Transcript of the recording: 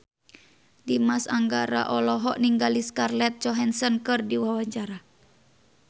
Dimas Anggara olohok ningali Scarlett Johansson keur diwawancara